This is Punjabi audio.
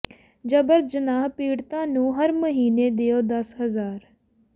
ਜਬਰ ਜਨਾਹ ਪੀੜਤਾ ਨੂੰ ਹਰ ਮਹੀਨੇ ਦਿਉ ਦਸ ਹਜ਼ਾਰ